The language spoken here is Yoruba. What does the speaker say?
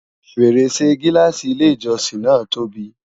fèrèsé gilaasi ilé ìjósìn na tóbi